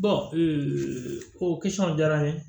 ko jara n ye